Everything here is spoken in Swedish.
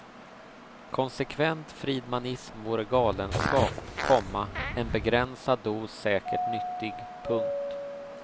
Konsekvent friedmanism vore galenskap, komma en begränsad dos säkert nyttig. punkt